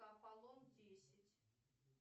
аполлон десять